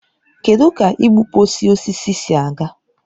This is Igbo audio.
Kedụ ka igbukpọsị osisi si aga?